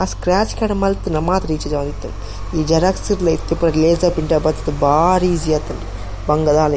ಆ scratch card ಮಲ್ತುಂಡ ಮಾತ್ರ ಇಜ್ಜಿಂಡ ಒಂತೆ ಈ ಜೆರಾಕ್ಸ್ ಡ್ಲ ಇತ್ತೆ ಪೂರ ಲೇಸರ್ ಬತ್ತುದು ಬಾರಿ ಇಸೀ ಆತುಂಡ್ ಬಂಗ ದಾಲ--